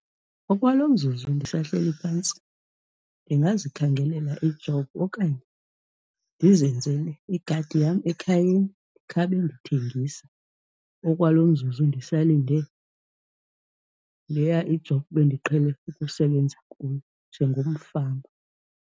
Okwalo mzuzu ndisahleli phantsi ndingazikhangelela i-job okanye ndizenzele igadi yam ekhayeni, khawube ndithengisa okwalo mzuzu ndisalinde leya i-job bendiqhele ukusebenza kuyo njengomfama.